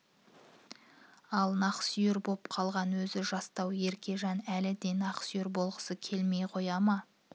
ал нақсүйер боп қалған өзі жастау еркежан әлі де нақсүйер болғысы келмей қоя ма